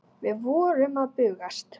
Við vorum að bugast.